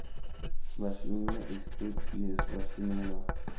vhashumi vha saps vha shumela